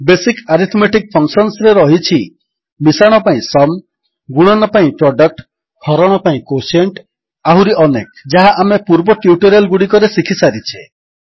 basic arithmetic ଫଙ୍କସନ୍ସରେ ରହିଛି ମିଶାଣ ପାଇଁ ସୁମ୍ ଗୁଣନ ପାଇଁ ପ୍ରଡକ୍ଟ ହରଣ ପାଇଁ କ୍ୱୋଟିଏଣ୍ଟ ଆହୁରି ଅନେକ ଯାହା ଆମେ ପୂର୍ବ ଟ୍ୟୁଟୋରିଆଲ୍ ଗୁଡ଼ିକରେ ଶିଖିସାରିଛେ